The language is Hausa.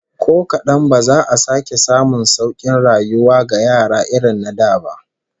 Ko kadan ba za a sake samun saukin rayuwa ga yara irin na da ba